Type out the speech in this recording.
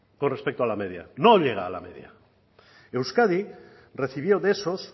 con respecto a la media no llega a la media euskadi recibió de esos